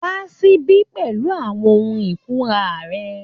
Wá síbí pẹ̀lú àwọn ohun ìkunra rẹ